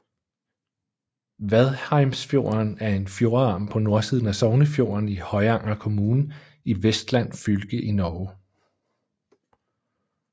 Vadheimsfjorden er en fjordarm på nordsiden af Sognefjorden i Høyanger kommune i Vestland fylke i Norge